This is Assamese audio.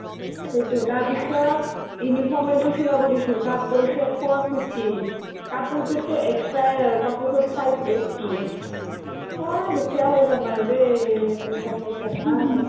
সেইটো তাৰপিছত uniform এজোৰ চিলাব দিছো তাত গৈছে four fifty কাপোৰতোত টো extra য়ে আৰু কাপোৰতোত five eighty অ দুখীয়া হৈ যাম আৰু দেই পইচা-চইচা নাই